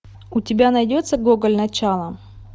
у тебя найдется гоголь начало